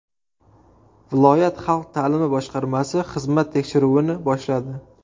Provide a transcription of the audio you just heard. Viloyat xalq ta’limi boshqarmasi xizmat tekshiruvini boshladi.